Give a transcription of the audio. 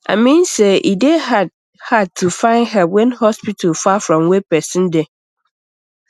i mean say e dey hard hard to find help when hospital far from where person dey